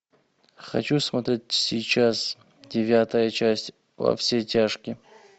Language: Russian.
хочу смотреть сейчас девятая часть во все тяжкие